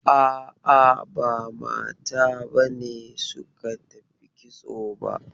A'a, ba mata b ne suka tafi kitso ba.